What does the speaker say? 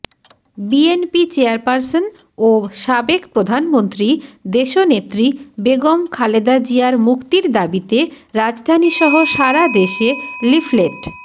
BNP chairperson ও সাবেক প্রধানমন্ত্রী দেশনেত্রী বেগম খালেদা জিয়ার মুক্তির দাবিতে রাজধানীসহ সারা দেশে লিফলেট